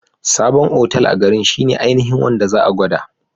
Sabon otal a garin shine ainihin wanda za'a gwada